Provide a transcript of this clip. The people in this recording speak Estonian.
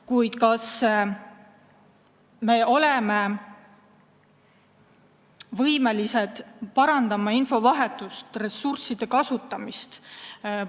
Kuid kas me oleme võimelised parandama infovahetust, ressursside kasutamist?